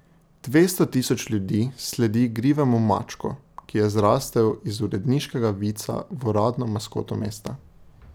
Dvesto tisoč ljudi sledi igrivemu mačku, ki je zrastel iz uredniškega vica v uradno maskoto mesta.